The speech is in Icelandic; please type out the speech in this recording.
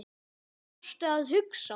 Hvað varstu að hugsa?